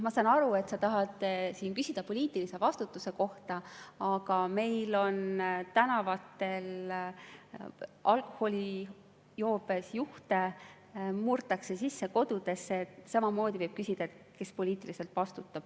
Ma saan aru, et sa tahad küsida poliitilise vastutuse kohta, aga meil on tänavatel alkoholijoobes juhte, murtakse kodudesse sisse ja samamoodi võib küsida, kes poliitiliselt vastutab.